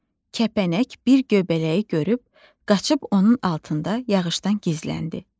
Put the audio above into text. Kəpənək bir göbələyi görüb, qaçıb onun altında yağışdan gizləndi.